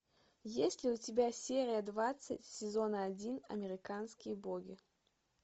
есть ли у тебя серия двадцать сезона один американские боги